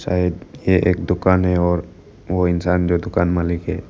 शायद ये एक दुकान है और वो इंसान जो दुकान मालिक है।